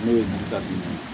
Ne ye ɲininkali min kɛ